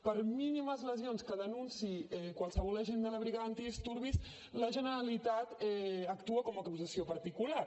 per mínimes lesions que denunciï qualsevol agent de la brigada antidisturbis la generalitat actua com a acusació particular